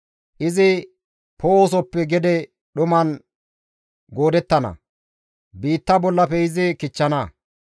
Izi Poo7osoppe gede dhuman goodettana; biitta bollafe izi kichchana.